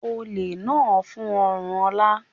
Olè náà fún ọrùn Ola.